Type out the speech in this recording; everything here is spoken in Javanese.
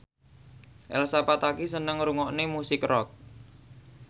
Elsa Pataky seneng ngrungokne musik rock